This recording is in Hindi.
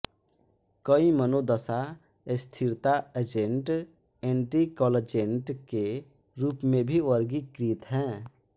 कई मनोदशा स्थिरता एजेंट एंटीकंवल्जेंट के रूप में भी वर्गीकृत हैं